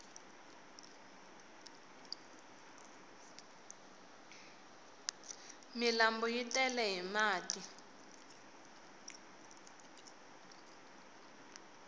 milambu yi tele hi mati